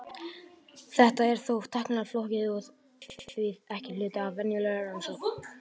Þetta er þó tæknilega flókið og er því ekki hluti af venjulegri rannsókn.